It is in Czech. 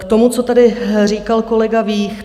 K tomu, co tady říkal kolega Vích.